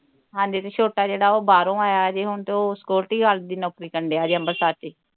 ਹਾਂਜੀ ਤੇ ਛੋਟਾ ਜਿਹੜਾ ਓਹ ਬਾਹਰੋਂ ਆਇਆ ਹਜੇ ਹੁਣ ਤੇ ਓਹ security guard ਦੀ ਨੌਕਰੀ ਕਰਨ ਦਿਆਂ ਜੇ ਅੰਬਰਸਰ ਵਿਚ ਹੀ